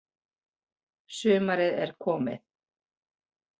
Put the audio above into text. Sumarið er komið.